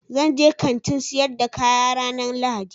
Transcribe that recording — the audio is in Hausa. Zan je Kantin sayar da kaya ranan lahadi